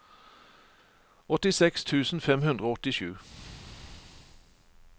åttiseks tusen fem hundre og åttisju